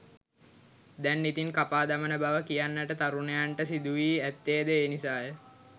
දැන් ඉතින් කපා දමන බව කියන්නට තරුණයන්ට සිදු වී ඇත්තේ ද ඒ නිසාය.